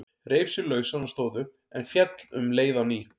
Reif sig lausan og stóð upp, en féll um leið á ný.